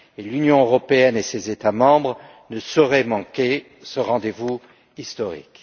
L'Union européenne et ses États membres ne sauraient manquer ce rendez vous historique.